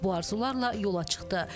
Bu arzularla yola çıxdı.